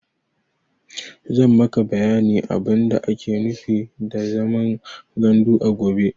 Zan maka bayanin abin da ake nufi da zaman gandu a gobe.